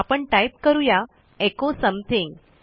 आपण टाईप करू या एचो समथिंग